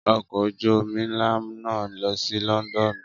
Ọkọ̀ ojú omi ńlá náà ń lọ sí Lọ́ńdọ́ọ́nù